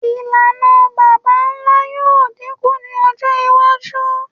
Ilana baba-nla yoo dinku ni ọjọ iwaju